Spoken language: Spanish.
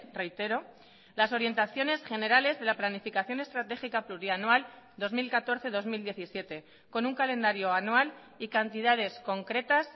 reitero las orientaciones generales de la planificación estratégica plurianual dos mil catorce dos mil diecisiete con un calendario anual y cantidades concretas